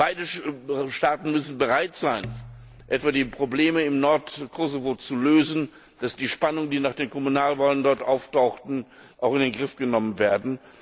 Beide Staaten müssen bereit sein, etwa die Probleme im Nordkosovo zu lösen, damit die Spannungen, die nach den Kommunalwahlen dort auftauchten, auch in den Griff bekommen werden.